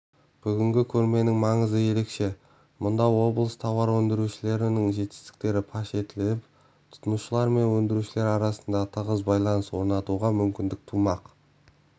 бүгінгі көрменің маңызы ерекше мұнда облыс тауар өндірушілерінің жетістіктері паш етіліп тұтынушылар мен өндірушілер арасында тығыз байланыс орнатуға мүмкіндік тумақ